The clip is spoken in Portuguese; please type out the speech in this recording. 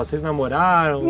Vocês namoraram?